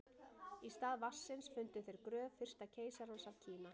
Í stað vatnsins fundu þeir gröf fyrsta keisarans af Kína.